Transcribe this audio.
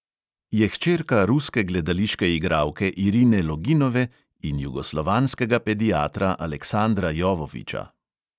Je hčerka ruske gledališke igralke irine loginove in jugoslovanskega pediatra aleksandra jovovića.